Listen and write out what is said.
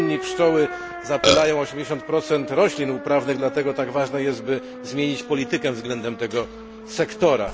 W Unii pszczoły zapylają 80 roślin uprawnych, dlatego tak ważne jest, by zmienić politykę względem tego sektora.